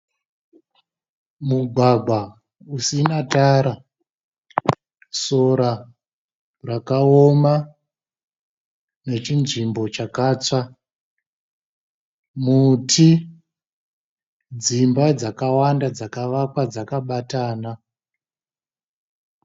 Mugwagwa usina tara, sora rakaoma nechinzvimbo chakatsva, muti, dzimba dzakawanda dzakavakwa dzakabatana.